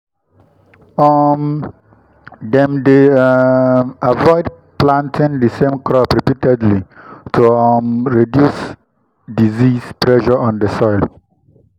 dem dey um avoid planting the same crop repeatedly to um reduce disease pressure on the soil.